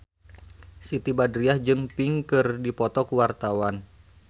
Siti Badriah jeung Pink keur dipoto ku wartawan